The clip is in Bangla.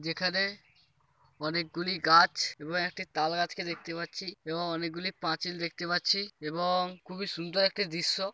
যেখানে অনেকগুলি গাছ এবং একটি তাল গাছকে দেখতে পাচ্ছি এবং অনেকগুলি পাঁচিল দেখতে পাচ্ছি এবং খুবই সুন্দর একটি দৃশ্য।